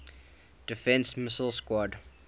defense missile squadron